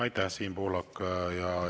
Aitäh, Siim Pohlak!